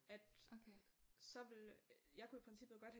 At så ville jeg kunne i princippet godt have